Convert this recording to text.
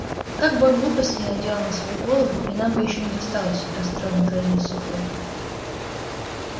как бы он глупостей не наделал на свою голову и нам бы ещё не досталось расстроенно произнёс сухой